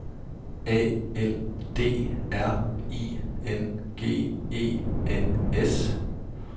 A L D R I N G E N S